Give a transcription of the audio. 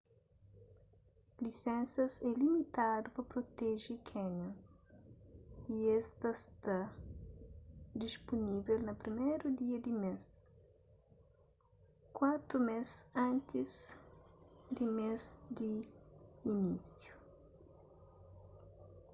lisensas é limitadu pa proteje canyon y es ta sta dispunivel na 1º dia di mês kuatu mês antis di mês di inisiu